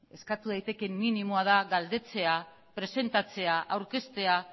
eskatu daitekeen minimoa da galdetzea presentatzea aurkeztea